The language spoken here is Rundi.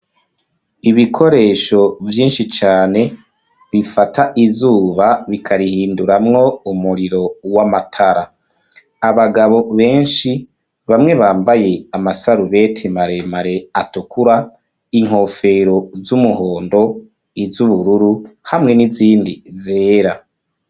ibikoresho vyinshi cane bifata izuba bikarihinduramwo umuriro w'amatara . Abagabo benshi bamwe bambaye amasarubeti maremare atukura, inkofero z'umuhondo, iz'ubururu, hamwe n'izindi zera.